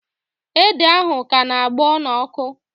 Ede ahụ ka na-agbọ n'ọkụ